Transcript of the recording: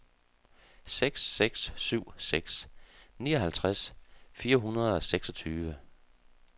seks seks syv seks nioghalvtreds fire hundrede og seksogtyve